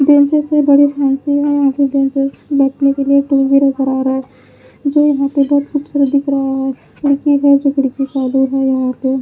benches है बड़े fancy हैं यहां के बेंचेस बैठने के लिए टी_वी नजर आ रहा है जो यहां पे बहोत खूबसूरत दिख रहा है खिड़की है जो खिड़की चालू है यहां पे--